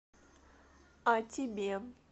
а тебе